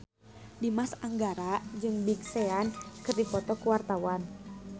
Dimas Anggara jeung Big Sean keur dipoto ku wartawan